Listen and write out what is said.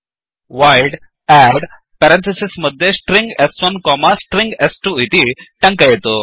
void add string s1स्ट्रिंग स्2 इति टङ्कयतु